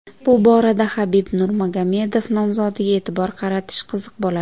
Bu borada Habib Nurmagomedov nomzodiga e’tibor qaratish qiziq bo‘ladi.